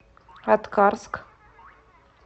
аткарск